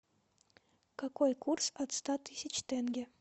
какой курс от ста тысяч тенге